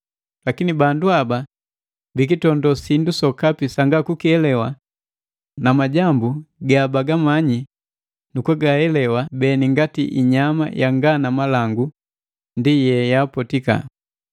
Lakini bandu haba bikitondo sindu sokapi sanga kukielewa; na majambu ga bagamanyi nu kugaelewa beni ngati inyama yanga na malangu ndi ye yaapotika.